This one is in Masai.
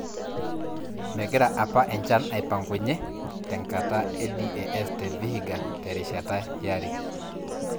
Megira APA enchan aipangunye tenkata e DAS te Vihiga terishata yare.